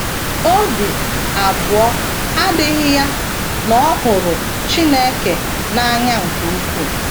Obi abụọ adịghị ya na ọ hụrụ Chineke n’anya nke ukwuu.